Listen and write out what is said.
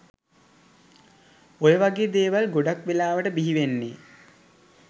ඔය වගේ දේවල් ගොඩක් වෙලාවට බිහිවෙන්නෙ